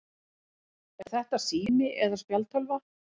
Er þetta sími eða spjaldtölva?